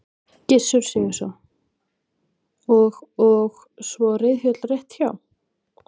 Gissur Sigurðsson: Og og svo reiðhöll rétt hjá?